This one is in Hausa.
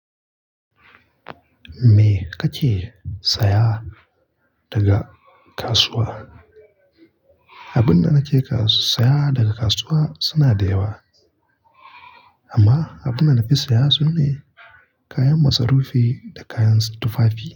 Me ka ke saya daga kasuwa? Abun da nake ka-saya daga kasuwa suna da yawa, amma abun da na fi saya sune kayan masarufi da kayan tufafi.